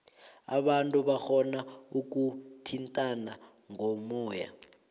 abantu barhona ukuthintana ngomoya